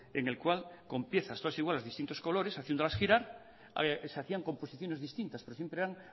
en el cual con piezas todas iguales de distintos colores haciéndolas girar se hacían composiciones distintas pero siempre eran